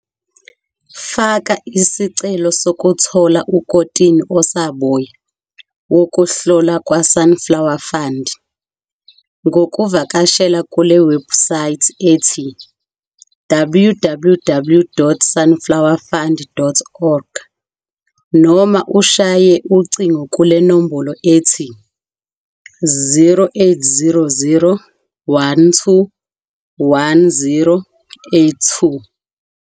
Faka isicelo sokuthola ukotini osaboya wokuhlola kwaSunflower Fund ngokuvakashela kule webhusayithi ethi- www.sunflowerfund.org noma ushaye ucingo kule nombolo ethi- 0800 12 10 82.